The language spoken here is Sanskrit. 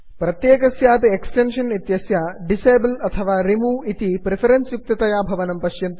प्रत्येकस्यापि एक्स्टेन्षन् इत्यस्य डिसेबल् अथवा रिमूव् इति प्रिफरेन्स् युक्ततया भवनं पश्यन्तु